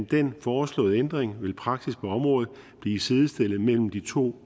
den foreslåede ændring vil praksis på området blive sidestillet mellem de to